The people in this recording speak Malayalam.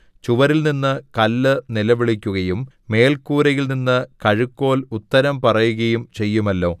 ചുവരിൽനിന്ന് കല്ല് നിലവിളിക്കുകയും മേൽക്കൂരയിൽനിന്ന് കഴുക്കോൽ ഉത്തരം പറയുകയും ചെയ്യുമല്ലോ